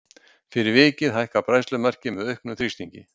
Fyrir vikið hækkar bræðslumarkið með auknum þrýstingi.